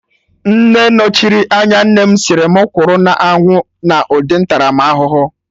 Nne nọchiri anya nnem sịrị mụ kwụrụ na anwụ na ụdị ntaramahụhụ